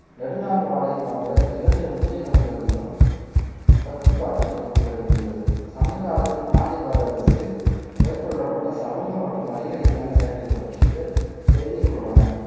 நெடுநாள் வாடை போன்ற இரண்டு முக்கிய நூல்களிலும் பத்துப்பாட்டு தொகுப்புகளில் உள்ளது சங்க காலத்தில் பாண்டிய பேரரசில் மேற்கொள்ளப்பட்ட சமூகம் மற்றும் வணிக ரீதியான செயல்களை பற்றிய செய்திகள் உள்ளன